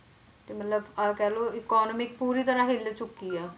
ਤੇ ਮਤਲਬ ਆਹ ਕਹਿ ਲਓ economy ਪੂਰੀ ਤਰ੍ਹਾਂ ਹਿੱਲ ਚੁੱਕੀ ਹੈ